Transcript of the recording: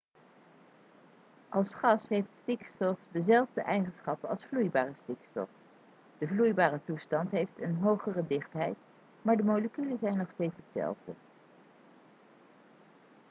als gas heeft stikstof dezelfde eigenschappen als vloeibare stikstof de vloeibare toestand heeft een hogere dichtheid maar de moleculen zijn nog steeds dezelfde